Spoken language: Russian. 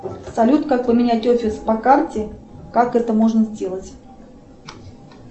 салют как поменять офис по карте как это можно сделать